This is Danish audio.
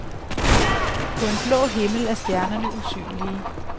På en blå himmel er stjernerne usynlige.